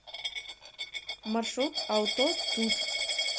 маршрут аутотут